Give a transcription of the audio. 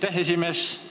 Aitäh, esimees!